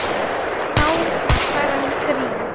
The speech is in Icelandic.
Þá var sagan grín.